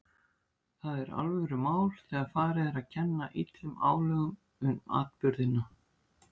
Það er alvörumál þegar farið er að kenna illum álögum um atburðina.